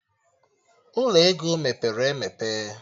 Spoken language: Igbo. Ụlọ ego mepere emepe